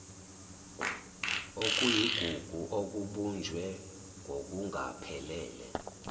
okuyigugu okubunjwe ngokungaphelele